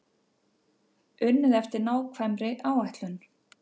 Unnið eftir nákvæmri áætlun